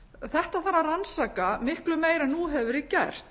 þetta þarf að rannsaka miklu meira en nú hefur verið gert